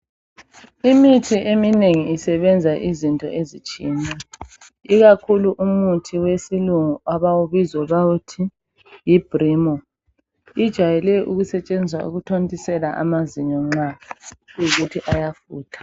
Imithi eminengi isebenza izinto ezitshiyeneyo ikakhulu umuthi wesilungu abawubiza bawuthi yi Brimo ujayele ukusetshenziswa ukuthontisela amazinyo nxa kuyi kuthi ayafutha.